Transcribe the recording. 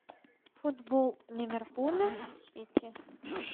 футбол ливерпуля с сити